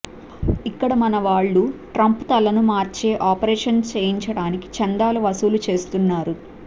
ఇక్కడ మనవాళ్లు ట్రంప్ తలని మార్చే ఆపరేషన్ చేయించడానికి చందాలు వసూలు చేస్తున్నారు